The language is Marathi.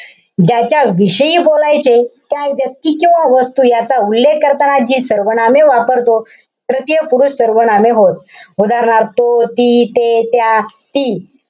ज्याच्या विषयी बोलायचे, त्या व्यक्ती किंवा वस्तू याचा उल्लेख करताना जी सर्वनामे वापरतो. तृतीय पुरुषवाचक सर्वनामे होत. उदाहरणार्थ तो, ती, ते, त्या, हि,